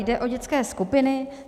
Jde o dětské skupiny.